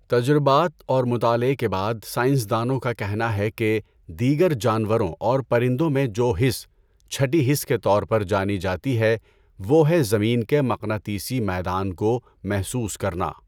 تجربات اور مطالعہ کے بعد سائنسدانوں کا کہنا ہے کہ دیگر جانوروں اور پرندوں میں جو حس، چهٹی حس کے طور پہ جانی جاتی ہے وہ ہے زمین کے مقناطیسی میدان کو محسوس کرنا ہے۔